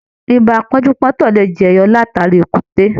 Ìbá pọ́njú-pọ́ntọ̀ lè jẹyọ látara èkúté.